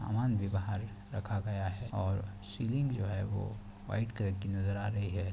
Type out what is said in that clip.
सामान भी बाहर रखा गया हैं और सीलिंग जो हैं वो वाइट कलर की नज़र आ रही हैं।